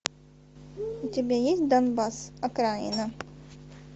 у тебя есть донбасс окраина